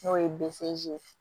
N'o ye ye